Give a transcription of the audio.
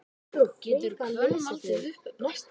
getur hvönn valdið uppblæstri